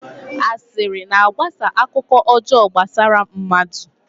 Asịrị na-agbasa ọkụ ọjọọ gbasara mmadụ.